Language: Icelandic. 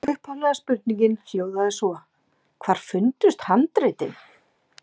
Upphaflega spurningin hljóðaði svo: Hvar fundust handritin?